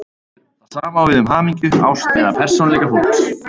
Það sama á við um hamingju, ást eða persónuleika fólks.